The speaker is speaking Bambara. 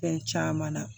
Fɛn caman na